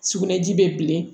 Sugunɛji bɛ bilen